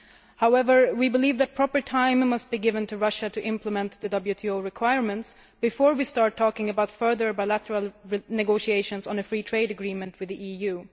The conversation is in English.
However, we believe that proper time must be given to Russia to implement the WTO requirements before we start talking about further bilateral negotiations on a free trade agreement with the EU.